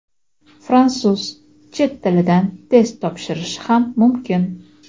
fransuz) chet tilidan test topshirishi ham mumkin.